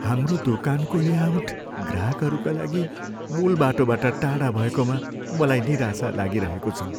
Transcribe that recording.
हाम्रो दोकानको लेआउट ग्राहकहरूका लागि मुूल बाटोबाट टाढा भएकोमा मलाई निराशा लागिरहेको छ।